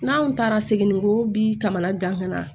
N'an taara segin ko bi taamana gan ka na